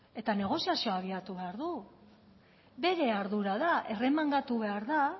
eta negoziazioa bilatu behar du bere ardura da erremangatu behar da